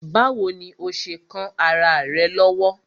Báwo ni ó ṣe kán ará rẹ̀ lọ́wọ́?